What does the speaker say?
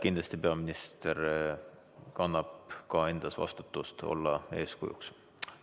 Kindlasti peaminister kannab endas ka vastutust olla eeskujuks.